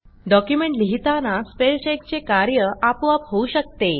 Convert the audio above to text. document लिहिताना spell चेकचे कार्य आपोआप होऊ शकते